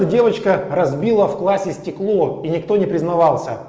девочка разбила в классе стекло и никто не признавался